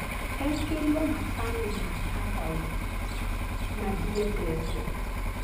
Ekĩrire macani ma kangauthi na ndiendete